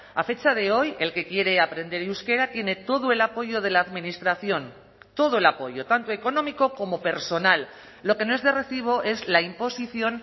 a fecha de hoy el que quiere aprender euskera tiene todo el apoyo de la administración todo el apoyo tanto económico como personal lo que no es de recibo es la imposición